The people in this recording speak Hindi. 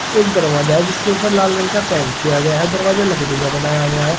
एक दरवाजा है जिसके ऊपर लाल रंग का पेंट किया हुआ है दरवाजा लकड़ी का बनाया हुआ है।